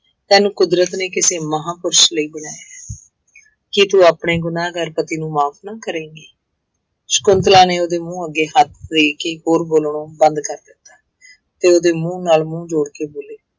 ਤੈਨੂੰ ਕੁਦਰਤ ਨੇ ਕਿਸੇ ਮਹਾਂਪੁਰਸ਼ ਲਈ ਬਣਾਇਆ ਹੈ ਕੀ ਤੂੰ ਆਪਣੇ ਗੁਨਾਂਹਗਾਰ ਪਤੀ ਨੂੰ ਮਾਫ਼ ਨਾ ਕਰੇਂਗੀ, ਸਕੁੰਤਲਾ ਨੇ ਉਹਦੇ ਮੂੰਹ ਅੱਗੇ ਹੱਥ ਦੇ ਕੇ ਹੋਰ ਬੋਲਣੋ ਬੰਦ ਕਰ ਦਿੱਤਾ ਤੇ ਉਹਦੇ ਮੂੰਹ ਨਾਲ ਮੂੰਹ ਜੋੜ ਕੇ ਬੋਲੀ